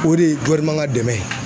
O de ye ka dɛmɛn ye.